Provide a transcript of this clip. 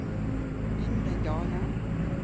Ingrid Dahle